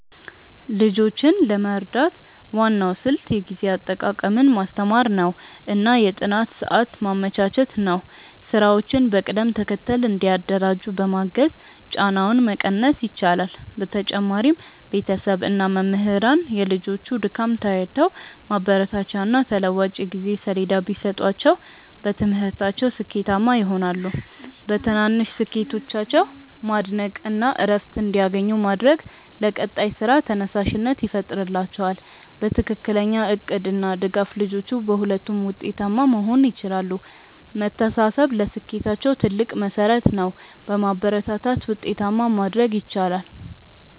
ልጆችን ለመርዳት ዋናው ስልት የጊዜ አጠቃቀምን ማስተማር እና የጥናት ሰዓት ማመቻቸት ነው። ስራዎችን በቅደም ተከተል እንዲያደራጁ በማገዝ ጫናውን መቀነስ ይቻላል። በተጨማሪም ቤተሰብ እና መምህራን የልጆቹን ድካም ተረድተው ማበረታቻና ተለዋዋጭ የጊዜ ሰሌዳ ቢሰጧቸው በትምህርታቸው ስኬታማ ይሆናሉ። በትናንሽ ስኬቶቻቸው ማድነቅ እና እረፍት እንዲያገኙ ማድረግ ለቀጣይ ስራ ተነሳሽነት ይፈጥርላቸዋል። በትክክለኛ እቅድ እና ድጋፍ ልጆቹ በሁለቱም ውጤታማ መሆን ይችላሉ። መተሳሰብ ለስኬታቸው ትልቅ መሠረት ነው። በማበረታታት ውጤታማ ማድረግ ይቻላል።